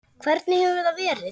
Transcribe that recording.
Hvernig hefur það verið?